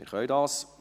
– Dies können wir.